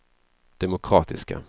demokratiska